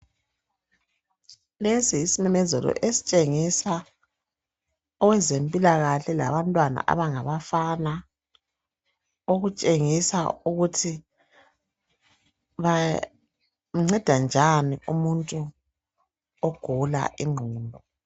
Lesi yisimemezelo esitshengisa owezempilakahle labantwana abangabafana okutshengisa ukuthi banceda njani umuntu ogula ingqondo.